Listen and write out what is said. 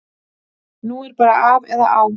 Nú er bara af eða á.